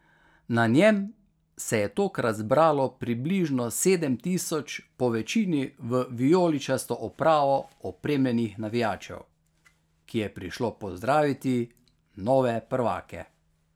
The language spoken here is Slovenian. Na njem se je tokrat zbralo približno sedem tisoč po večini v vijoličasto opravo opremljenih navijačev, ki je prišlo pozdraviti nove prvake.